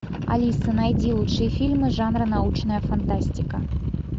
алиса найди лучшие фильмы жанра научная фантастика